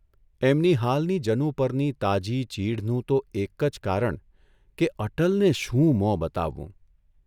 એમની હાલની જનુ પરની તાજી ચીઢનું તો એક જ કારણ કે અટલને શું મોં બતાવવું?